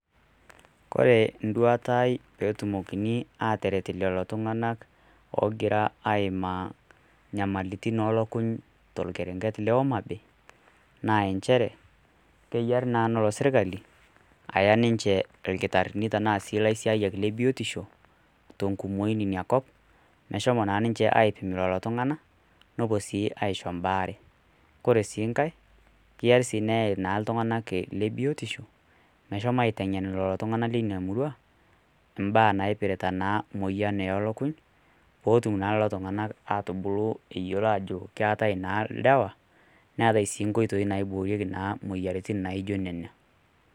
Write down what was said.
Kore induata aai peetumoki aataret lelo tung'anak oogira aaimaa nyamalitin oolukuny torkerenget le Homa bay keyiari naa neya serkali irkitarini le biotisho tenkumoi ina kop meshomo naa ninche aipim lelo tung'anak nepuo sii aishoo mbaaare kore sii. Ngae keyiari sii naa neyai iltung'anak le biotisho meshomo aiteng'en iltung'anak leina murua impaa naipirta naa moyian oolukuny pootum naa lelo tung'anak aatubulu ajo keetai naa ilewe neetai sii inkoitoi naaiboorieki imoyiaritin naijio nena.